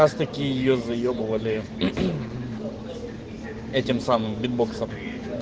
такие о заебывали этим самым битбоксом